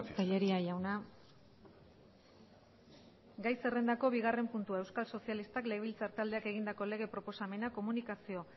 tellería jauna gai zerrendako bigarren puntua euskal sozialistak legebiltzar taldeak egindako lege proposamena komunikazio